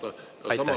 Aitäh, hea kolleeg!